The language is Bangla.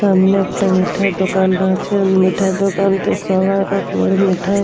সামনে একটা মিঠাই এর দোকান আছে মিঠাই দোকানতে সব রকমের মিঠাই--